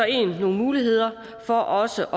nogle muligheder for også